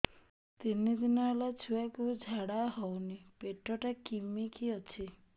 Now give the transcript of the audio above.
ତିନି ଦିନ ହେଲା ଛୁଆକୁ ଝାଡ଼ା ହଉନି ପେଟ ଟା କିମି କି ଅଛି